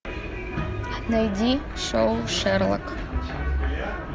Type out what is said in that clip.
найди шоу шерлок